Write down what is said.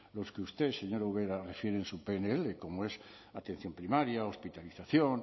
los que usted señora ubera refiere en su pnl como es la atención primaria hospitalización